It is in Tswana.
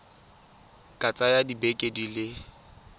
ka tsaya dibeke di le